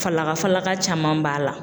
Falaka falaka caman b'a la.